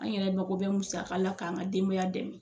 An yɛrɛ mako bɛ musaka la k'an ka denbaya dɛmɛ